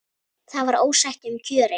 Það var ósætti um kjörin.